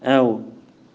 л